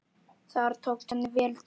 Þar tókst henni vel til.